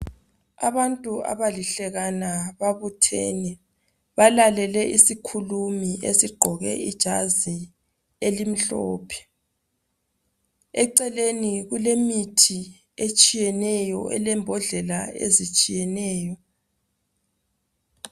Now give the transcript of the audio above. Abantu abalihlekana babuthene balalele isikhulumi esigqoke ijazi elimhlophe eceleni kulemithi etshiyeneyo elezimbodlela ezitshiyeneyo